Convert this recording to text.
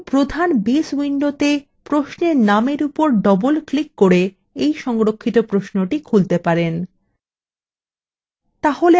আপনি প্রধান base window প্রশ্নের নামের উপর double ক্লিক করে we সংরক্ষিত প্রশ্নটি খুলতে পারেন